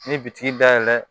Ni bitigi da yɛlɛ